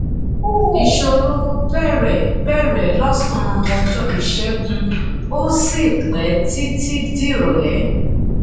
ìṣòro bẹ̀rẹ̀ bẹ̀rẹ̀ l’ọ̀sán ọjọ́ ìṣẹ́gun ó sì pé títí d’irọlẹ́.